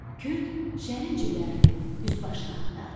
Kürd şərin cibərini, üst-başını axtardı.